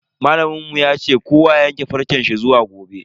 Malamin mu ya ce kowa ya yanke farce shi zuwa gobe.